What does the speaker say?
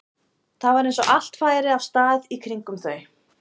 Það var eins og allt færi af stað í kringum þau.